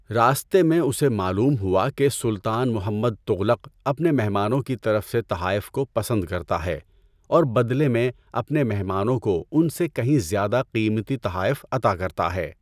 راستے میں اسے معلوم ہوا کہ سلطان محمد تغلق اپنے مہمانوں کی طرف سے تحائف کو پسند کرتا ہے اور بدلے میں اپنے مہمانوں کو ان سے کہیں زیادہ قیمتی تحائف عطا کرتا ہے۔